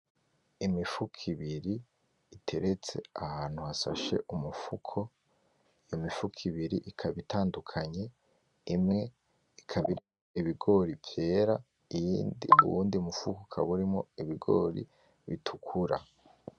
Imifuko ibiri iteretse ahantu hasashe umufuko iyo mifuko ibiri ikaba itandukanye imwe ikaba irimwo ibigori vyera uwundi mufuko ukaba urimwo ibigori bitukura